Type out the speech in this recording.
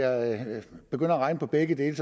at regne på begge dele